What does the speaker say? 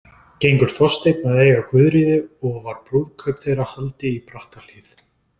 Gengur Þorsteinn að eiga Guðríði og var brúðkaup þeirra haldið í Brattahlíð.